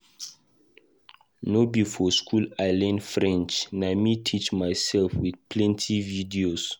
No be for skool I learn French, na me teach mysef wit plenty video.